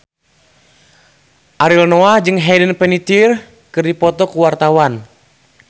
Ariel Noah jeung Hayden Panettiere keur dipoto ku wartawan